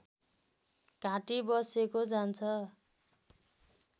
घाँटी बसेको जान्छ